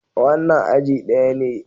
Wannan aji daya ne.